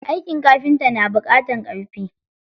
Aikin kafinta na buƙatar ƙarfi.